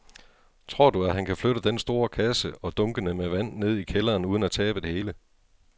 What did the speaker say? Tror du, at han kan flytte den store kasse og dunkene med vand ned i kælderen uden at tabe det hele?